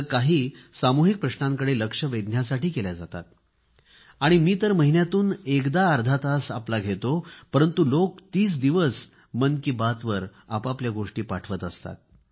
तर काही सामुहिक प्रश्नांकडे लक्ष वेधण्यासाठी केल्या जातात आणि मी तर महिन्यातून एकदा अर्धा तास आपला घेतो परंतु लोक तीस दिवस मन की बात वर आपल्या गोष्टी पाठवत असतात